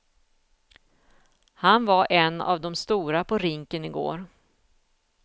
Han var en av de stora på rinken igår.